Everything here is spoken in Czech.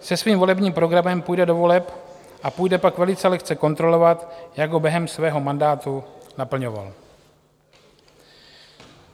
Se svým volebním programem půjde do voleb a půjde pak velice lehce kontrolovat, jak ho během svého mandátu naplňoval.